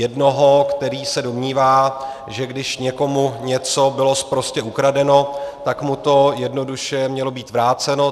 Jednoho, který se domnívá, že když někomu něco bylo sprostě ukradeno, tak mu to jednoduše mělo být vráceno.